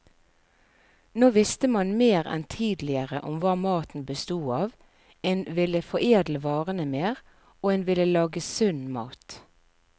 Nå visste man mer enn tidligere om hva maten bestod av, en ville foredle varene mer, og en ville lage sunn mat.